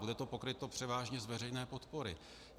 Bude to pokryto převážně z veřejné podpory.